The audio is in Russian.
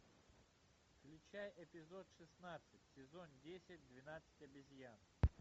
включай эпизод шестнадцать сезон десять двенадцать обезьян